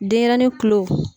Denɲɛrɛnin kulo